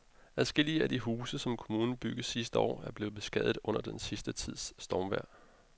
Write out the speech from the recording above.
Adskillige af de huse, som kommunen byggede sidste år, er blevet beskadiget under den sidste tids stormvejr.